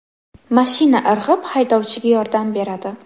Mashina irg‘ib, haydovchiga yordam beradi.